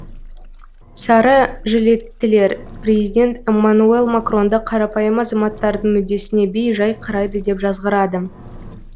сары жилеттілер президент эммануэл макронды қарапайым азаматтардың мүддесіне бей жай қарайды деп жазғырады